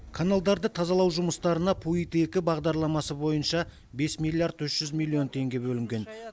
каналдарды тазалау жұмыстарына пуид екі бағдарламасы бойынша бес миллиард үш жүз миллион теңге бөлінген